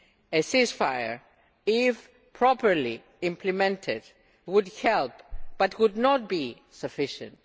A ceasefire, if properly implemented, would help but would not be sufficient.